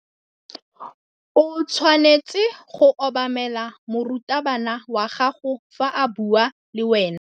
O tshwanetse go obamela morutabana wa gago fa a bua le wena.